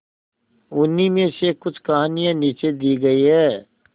उन्हीं में से कुछ कहानियां नीचे दी गई है